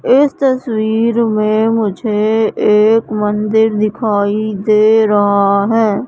इस तस्वीर में मुझे एक मंदिर दिखाई दे रहा है।